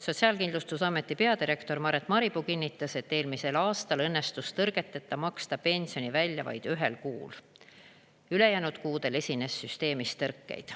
Sotsiaalkindlustusameti peadirektor Maret Maripuu kinnitas, et eelmisel aastal õnnestus tõrgeteta maksta pensioni välja vaid ühel kuul, ülejäänud kuudel esines süsteemis tõrkeid.